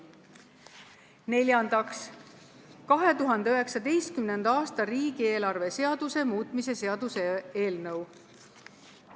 Neljandaks, 2019. aasta riigieelarve seaduse muutmise seaduse eelnõu.